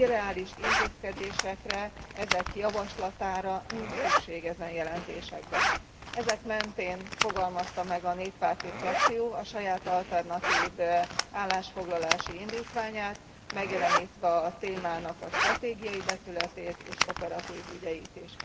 Irreális intézkedésekre, ezek javaslatára nincs szükség e jelentésekben. Ezek mentén fogalmazta meg a néppárti frakció a saját alternatív állásfoglalási indítványát, megjelenítve a témának a stratégiai vetületét és operatív ügyeit is.